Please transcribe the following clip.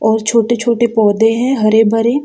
और छोटे-छोटे पौधे हैं हरे भरे।